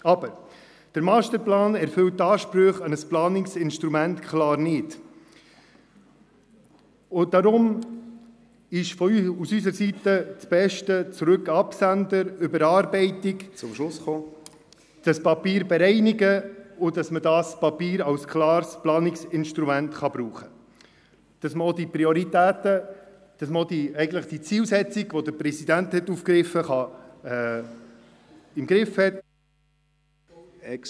Aber: Der Masterplan erfüllt die Ansprüche an ein Planungsinstrument klar nicht, und deshalb ist aus unserer Sicht das Beste: zurück an den Absender, überarbeiten und das Papier bereinigen, damit wir dieses Papier als klares Planungsinstrument brauchen können, damit man auch die Zielsetzungen, die der Präsident aufgegriffen hat, im Griff hat.